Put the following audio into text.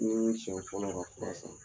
N'i ye ni siɲɛ fɔlɔ ye ka fura san.